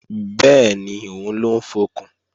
Bẹ́ẹ̀ni, òun ló ń fọkùn